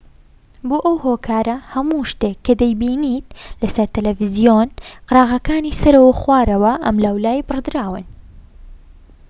بۆ ئەو هۆکارە هەموو شتێك کە دەیبینیت لەسەر تەلەڤیزۆن قەراغەکانی سەرەوە و خوارەوە و ئەملاولای بڕدراون